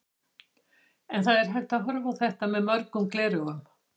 En það er hægt að horfa á þetta með mörgum gleraugum.